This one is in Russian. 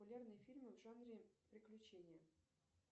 популярные фильмы в жанре приключения